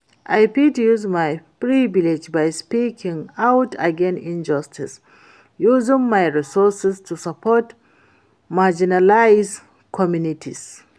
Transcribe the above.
i fit use my privilege by speaking out against injustice, using my resources to support marginalized communities.